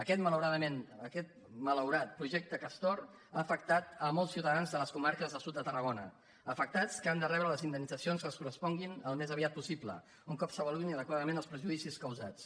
aquest malaurat projecte castor ha afectat molts ciutadans de les comarques del sud de tarrago·na afectats que han de rebre les indemnitzacions que els corresponguin el més aviat possible un cop s’ava·luïn adequadament els perjudicis causats